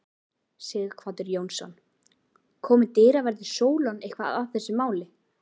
Sighvatur Jónsson: Komu dyraverðir Sólon eitthvað að þessu máli?